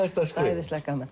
æðislega gaman